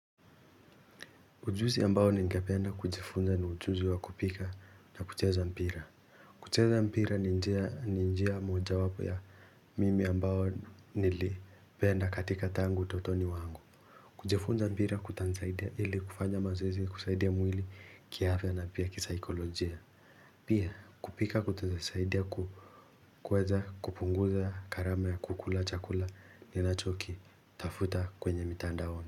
Ujuzi ambao ningependa kujifunza ni ujuzi wa kupika na kucheza mpira. Kucheza mpira ni njia mojawapo ya mimi ambayo nilipenda katika tangu utotoni wangu. Kujifunza mpira kutanisaidia ili kufanya mazoezi kusaidia mwili kiafya na pia kisikolojia. Pia kupika kutaeza saidia kukweza kupunguza gharama ya kukula chakula ninacho kitafuta tafuta kwenye mitandaoni.